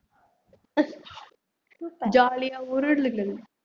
jolly ஆ உருளுங்கள்